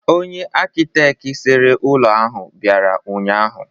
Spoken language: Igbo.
Onye akịtekị sere ụlọ ahụ bịara ụnyaahụ.